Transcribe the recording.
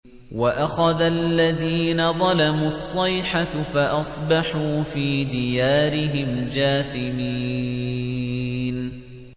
وَأَخَذَ الَّذِينَ ظَلَمُوا الصَّيْحَةُ فَأَصْبَحُوا فِي دِيَارِهِمْ جَاثِمِينَ